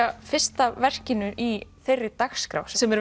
fyrsta verkinu í þeirri dagskrá sem er